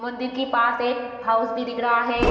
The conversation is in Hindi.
मंदिर के पास एक हाउस भी दिख रहा है।